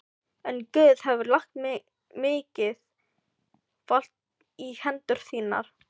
En Guð hefur lagt mikið vald í hendur þínar.